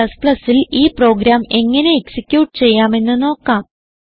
Cൽ ഈ പ്രോഗ്രാം എങ്ങനെ എക്സിക്യൂട്ട് ചെയ്യാമെന്ന് നോക്കാം